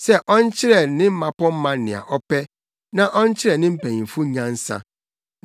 sɛ ɔnkyerɛ ne mmapɔmma nea ɔpɛ na ɔnkyerɛ ne mpanyimfo nyansa.